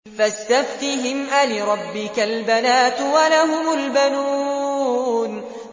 فَاسْتَفْتِهِمْ أَلِرَبِّكَ الْبَنَاتُ وَلَهُمُ الْبَنُونَ